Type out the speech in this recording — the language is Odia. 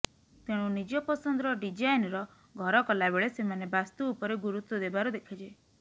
ତେଣୁ ନିଜ ପସନ୍ଦର ଡିଜାଇନ୍ର ଘର କଲା ବେଳେ ସେମାନେ ବାସ୍ତୁ ଉପରେ ଗୁରୁତ୍ୱ ଦେବାର ଦେଖାଯାଏ